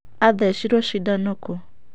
Athecirwo cindano kũũ?.